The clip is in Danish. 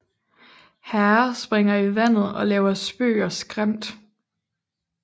Herrer springer i vandet og laver spøg og skæmt